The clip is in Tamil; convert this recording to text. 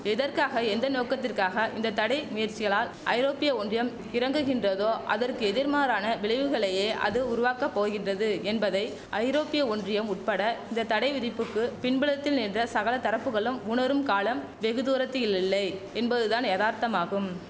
எதற்காக எந்த நோக்கத்திற்காக இந்த தடை முயற்சிகளால் ஐரோப்பிய ஒன்றியம் இறங்குகின்றதோ அதற்கு எதிர்மாறான விளைவுகளையே அது உருவாக்க போகின்றது என்பதை ஐரோப்பிய ஒன்றியம் உட்பட இந்த தடை விதிப்புக்கு பின்புலத்தில் நின்ற சகல தரப்புகளும் உணரும் காலம் வெகுதூரத்தில் இல்லை என்பதுதான் யதார்த்தமாகும்